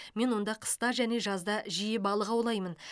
мен онда қыста және жазда жиі балық аулаймын